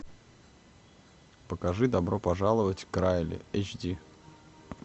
покажи добро пожаловать к райли эйч ди